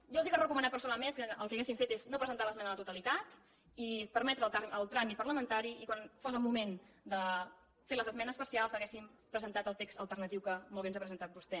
jo els he de recomanar personalment que el que haurien d’haver fet és no presentar l’esmena a la totalitat i permetre el tràmit parlamentari i quan fos el moment de fer les esmenes parcials haguessin presentat el text alternatiu que molt bé ens ha presentat vostè